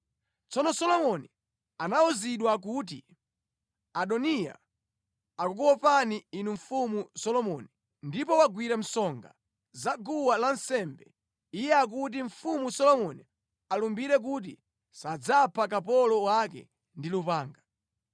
Tsono Solomoni anawuzidwa kuti, “Adoniya akukuopani inu Mfumu Solomoni ndipo wagwira msonga za guwa lansembe. Iye akuti, ‘Mfumu Solomoni alumbire kuti sadzapha kapolo wake ndi lupanga.’ ”